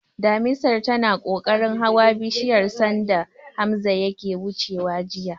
Damisar tana kokarin hawa bishiyar sanda Hamza yake wucewa jiya.